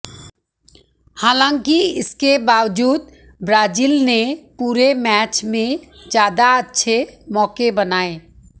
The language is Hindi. हालांकि इसके बावजूद ब्राजील ने पूरे मैच में ज्यादा अच्छे मौके बनाए